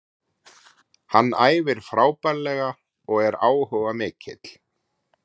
Hann æfir frábærlega og er áhugamikill.